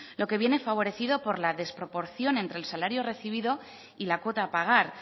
lo que viene favorecido por la desproporción entre el salario recibido y la cuota a pagar